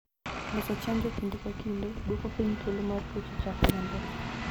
Loso chanjo kinde ka kinde, duoko piny thuolo mar tuoche chako landore.